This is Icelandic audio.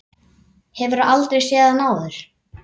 Hefur aldrei séð hann áður.